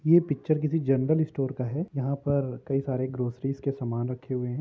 ये पिक्चर किसी general store का है यहाँ पर कई सरे ग्रोसरीस के सामान रखे हुए हैं।